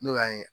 N'o y'an ye